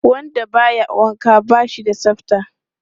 Wanda ba ya wanka ba shi da tsafta.